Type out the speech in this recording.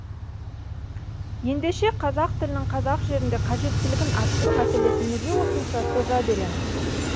ендеше қазақ тілінің қазақ жерінде қажеттілігін арттыру мәселесін неге осынша соза береміз